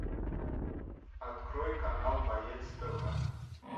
открой канал боец тв